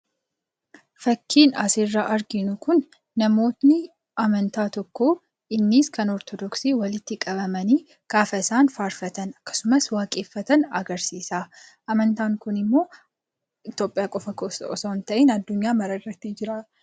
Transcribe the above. Fakkiin asirraa arginu Kun, namoonni amantaa tokkoo, innis kan Ortodoksii walitti qabamanii gaafa isaan faarfatan akkasumas waaqeffatan agarsiisa. Amantaan Kun immoo Itoophiyaa qofa keessatti osoo hin ta'iin addunyaa mara irra jira.